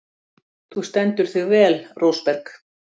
Þú stendur þig vel, Rósberg!